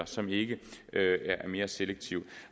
som ikke er mere selektive